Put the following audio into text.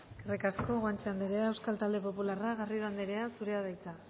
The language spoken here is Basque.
eskerrik asko guanche anderea euskal talde popularra garrido anderea zurea da hitza